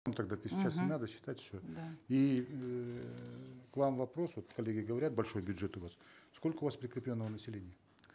ну тогда те сейчас не надо считать все да и эээ к вам вопрос вот коллеги говорят большой бюджет у вас сколько у вас прикрепленного населения